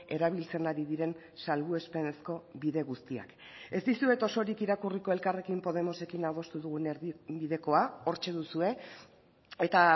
erabiltzen ari diren salbuespenezko bide guztiak ez dizuet osorik irakurriko elkarrekin podemosekin adostu dugun erdibidekoa hortxe duzue eta